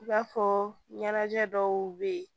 I b'a fɔ ɲɛnajɛ dɔw bɛ yen